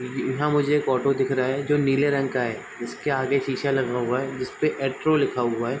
यहाँ मुझे एक ऑटो दिख रहा है जो नीले रंग का है जिसके आगे शीशा लगा हुआ है जिसपे एट्रो लिखा हुआ है।